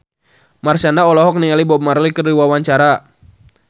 Marshanda olohok ningali Bob Marley keur diwawancara